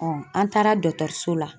an taara dɔgɔtɔrɔso la.